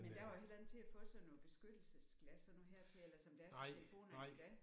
Men der var det heller ikke til at få sådan noget beskyttelsesglas sådan noget hertil eller som der er til telefonerne i dag